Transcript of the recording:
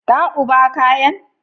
Ka uba kayan?